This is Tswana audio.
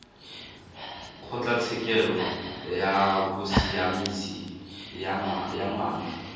kgotlatshekelo ya bosiamisi ya ngwana